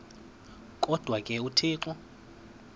kodwa ke uthixo